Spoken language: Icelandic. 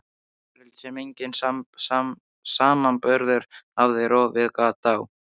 Þessi veröld sem enginn samanburður hafði rofið gat á.